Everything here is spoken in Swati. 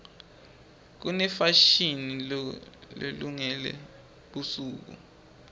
kunefashini lelungele busuku